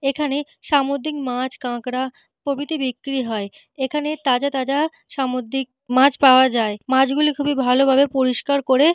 এখানে সামুদ্রিক মাছ কাঁকড়া প্রভৃতি বিক্রি হয়। এখানে তাজা তাজা সামুদ্রিক মাছ পাওয়া যায়। মাছগুলি খুবই ভালো ভাবে পরিষ্কার করে --